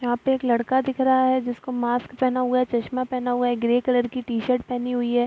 यहाँ पे एक लड़का दिख रहा है जिसको मास्क पेहना हुआ है चश्मा पेहना है ग्रे कलर की टी-शर्ट पेहनी हुई है।